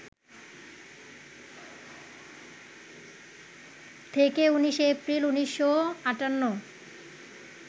থেকে ১৯শে এপ্রিল, ১৯৫৮